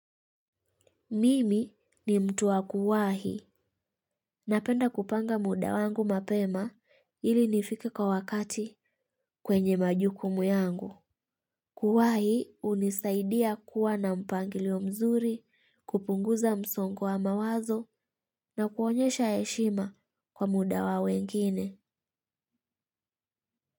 Mimi ni mtu wa kuwahi napenda kupanga muda wangu mapema ili nifike kwa wakati kwenye majukumu yangu. Kuwahi unisaidia kuwa na mpangilio mzuri kupunguza msongo wa mawazo na kuonyesha heshima kwa muda wa wengine.